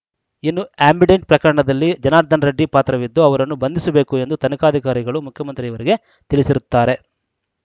ಇನ್ನು ಆ್ಯಂಬಿಡೆಂಟ್‌ ಪ್ರಕರಣದಲ್ಲಿ ಜನಾರ್ದನ ರೆಡ್ಡಿ ಪಾತ್ರವಿದ್ದು ಅವರನ್ನು ಬಂದಿಸಬೇಕು ಎಂದು ತನಿಖಾಧಿಕಾರಿಗಳು ಮುಖ್ಯಮಂತ್ರಿಯವರಿಗೆ ತಿಳಿಸಿರುತ್ತಾರೆ